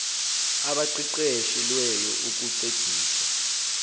abaqeqeshe lweyo ukuncedisa